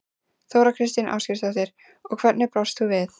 Þóra Kristín Ásgeirsdóttir: Og hvernig brást þú við?